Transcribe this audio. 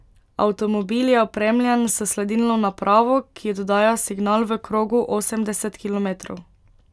Avtomobil je opremljen s sledilno napravo, ki oddaja signal v krogu osemdeset kilometrov.